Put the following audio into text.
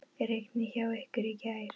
Rigndi hjá ykkur í gær?